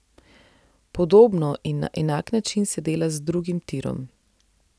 Podobno in na enak način se dela z drugim tirom.